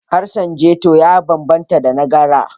Harshen ghetto ya banbanta da na GRA.